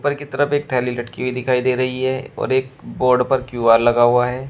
मने तरफ़ एक थैली लटकी हुई दिखाई दे रही है और एक बोर्ड पर क्यू_आर लगा हुआ है।